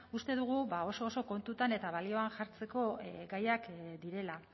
uste dugu ba oso oso kontutan eta balioan jartzeko gaiak direla